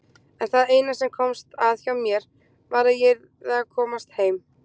En það eina sem komst að hjá mér var að ég yrði að komast heim.